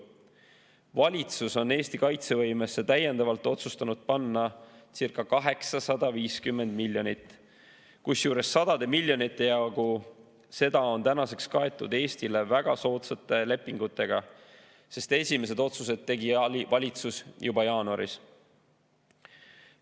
Valitsus on otsustanud Eesti kaitsevõimesse täiendavalt panna circa 850 miljonit, kusjuures sadade miljonite jagu on tänaseks kaetud Eestile väga soodsate lepingutega, sest esimesed otsused tegi valitsus juba jaanuaris.